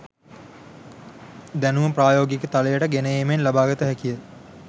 දැනුම ප්‍රායෝගික තලයට ගෙන ඒමෙන් ලබාගත හැකිය.